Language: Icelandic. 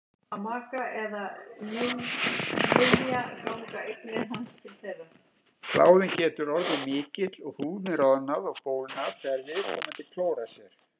Kláðinn getur orðið mikill og húðin roðnað og bólgnað þegar viðkomandi klórar sér.